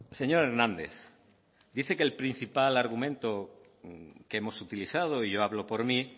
señor hernández dice que el principal argumento que hemos utilizado y yo hablo por mí